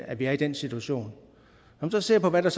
at vi er i den situation når man så ser på hvad der